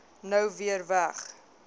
nou weer weg